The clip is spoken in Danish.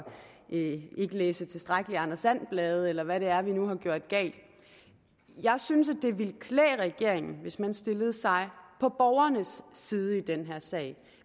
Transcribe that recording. ikke læse tilstrækkeligt med anders and blade eller hvad det er vi nu har gjort galt jeg synes at det ville klæde regeringen hvis den stillede sig på borgernes side i den her sag